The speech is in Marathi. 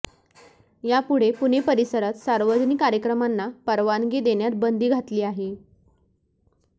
यापुढे पुणे परिसरात सार्वजनिक कार्यक्रमांना परवानगी देण्यात बंदी घातली आहे